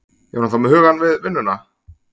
Er hún þá með hugann við vinnuna?